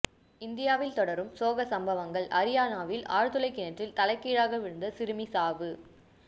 இந்தியாவில் தொடரும் சோக சம்பவங்கள் அரியானாவில் ஆழ்துளை கிணற்றில் தலைகீழாக விழுந்த சிறுமி சாவு